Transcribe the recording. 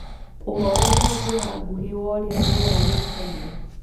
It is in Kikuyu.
uhoro na njĩra nguhĩ wa urĩa rĩera rĩĩkaĩre